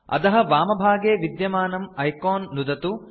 अधः वामभागे विद्यमानं आइकॉन् नुदतु